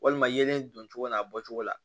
Walima yelen don cogo min a bɔcogo la